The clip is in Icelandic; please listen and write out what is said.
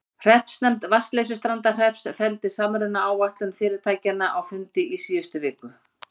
Hreppsnefnd Vatnsleysustrandarhrepps felldi samrunaáætlun fyrirtækjanna á fundi í síðustu viku.